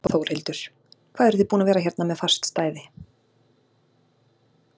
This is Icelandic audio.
Þórhildur: Hvað eruð þið búin að vera hérna með fast stæði?